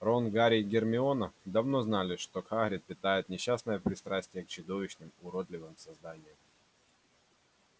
рон гарри и гермиона давно знали что хагрид питает несчастное пристрастие к чудовищным уродливым созданиям